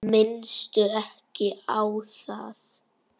Minnstu ekki á það.